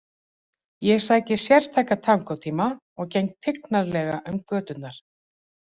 Ég sæki sértæka tangótíma og geng tignarlega um göturnar.